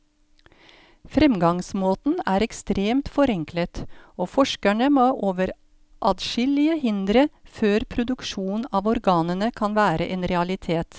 Fremgangsmåten er ekstremt forenklet, og forskerne må over adskillige hindre før produksjon av organene kan være en realitet.